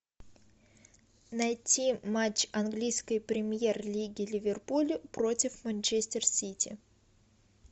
найти матч английской премьер лиги ливерпуль против манчестер сити